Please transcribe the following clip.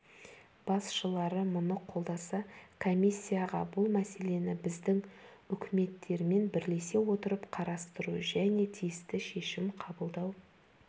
басшылары мұны қолдаса комиссияға бұл мәселені біздің үкіметтермен бірлесе отырып қарастыру және тиісті шешім қабылдау